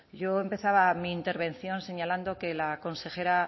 yo empezaba mi intervención señalando que la consejera